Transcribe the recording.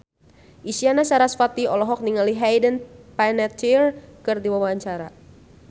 Isyana Sarasvati olohok ningali Hayden Panettiere keur diwawancara